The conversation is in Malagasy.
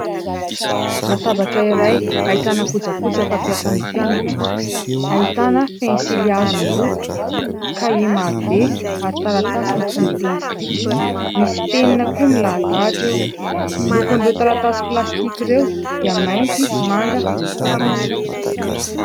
Latabatra iray : ahitana kojakoja fampiasan'ny mpianatra, ahitana pensilihazo miloko, kahie maro be ary taratasy mifono plastika, misy penina koa milahadahatra eo. Lokon'ireo taratasy plastika ireo dia mainty, manga, volomparasy.